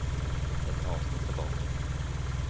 Ett avsnitt tilbake